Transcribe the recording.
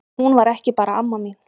Hún var ekki bara amma mín.